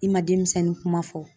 I ma denmisɛnnin kuma fɔ.